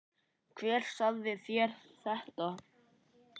Hver sagði þér þetta?